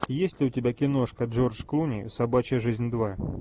есть ли у тебя киношка джордж клуни собачья жизнь два